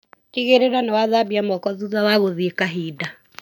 Tigĩrĩra nĩwathambia moko thutha wa gũthĩi kahinda.